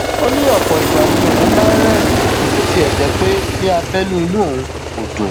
ó ní ọpọ ìgbà ni òun máa ń rẹrìnín bó tiẹ jẹ pé ní abẹnú inú òun kò dùn